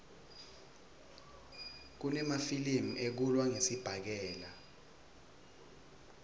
kunemafilimi ekulwa ngesibhakela